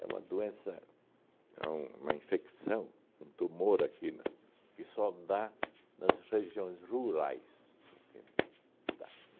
uma doença, é um uma infecção, um tumor aqui na, que só dá nas regiões rurais, entende? Tá